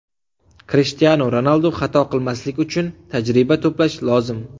Krishtianu Ronaldu Xato qilmaslik uchun tajriba to‘plash lozim.